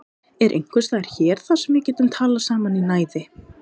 Er einhver staður hér þar sem við getum talað saman í næði?